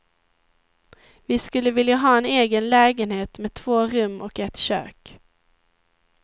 Vi skulle vilja ha en egen lägenhet med två rum och ett kök.